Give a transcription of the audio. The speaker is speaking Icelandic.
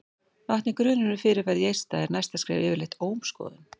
vakni grunur um fyrirferð í eista er næsta skref yfirleitt ómskoðun